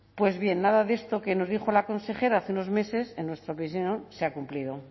pues bien nada de esto que nos dijo la consejera hace unos meses en nuestra opinión se ha cumplido